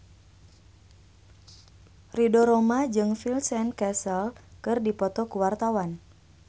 Ridho Roma jeung Vincent Cassel keur dipoto ku wartawan